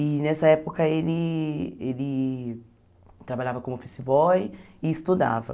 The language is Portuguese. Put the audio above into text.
E nessa época ele ele trabalhava como office boy e estudava.